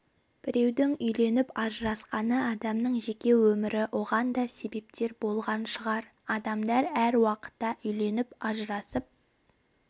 біреудің үйленіп ажырасқаны адамның жеке өмірі оған да себептер болған шығар адамдар әр уақытта үйленіп ажырасып